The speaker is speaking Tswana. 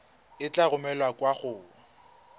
e tla romelwa kwa go